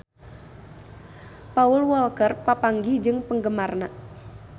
Paul Walker papanggih jeung penggemarna